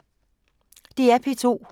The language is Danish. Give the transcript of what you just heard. DR P2